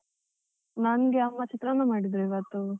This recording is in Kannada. ನಂಗೆ ಅಮ್ಮ ಚಿತ್ರಾನ್ನ ಮಾಡಿದ್ರು ಇವತ್ತು.